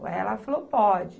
Aí, ela falou, pode.